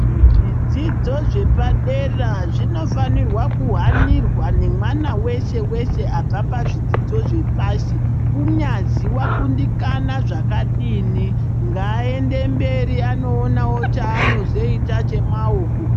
Zvidzidzo zvepadera zvinofanirwa kuhanirwa nemwana weshe-weshe abva pazvidzidzo zvepashi, kunyazi wakundikana zvakadini . Ngaaende mberi anoonawo chaanozoita chemaoko.